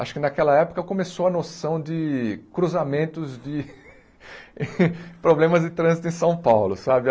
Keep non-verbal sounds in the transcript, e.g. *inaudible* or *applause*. Acho que naquela época começou a noção de cruzamentos de *laughs* problemas de trânsito em São Paulo, sabe?